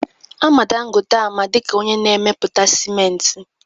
Ama Dangote ama dịka onye na-emepụta sịmenti